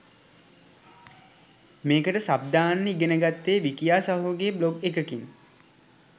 මේකට සබ් දාන්න ඉගන ගත්තේ විකියා සහෝගේ බ්ලොග් එකකින්.